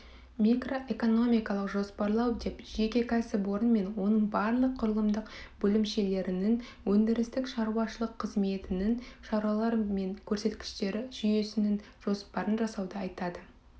микроэкономикалық жоспарлау деп жеке кәсіпорын мен оның барлық құрылымдық бөлімшелерінің өндірістік-шаруашылық қызметінің шаралары мен көрсеткіштері жүйесінің жоспарын жасауды айтады